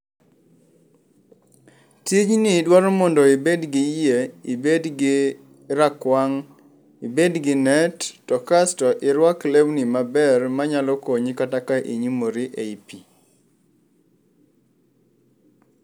Tijni dwaro mondo ibed gi yie ibed gi rakwang', ibed gi net to kasto, irwak lewni maber manyalo konyi kata ka inyumori ei pii.